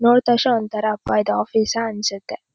ನೋಡುತ್ ತಕ್ಷ್ಣ ಒಂಥರಾ ಅಬ್ಬಾ ಇದ್ ಆಫೀಸಾ ಅನ್ಸತ್ತೆ.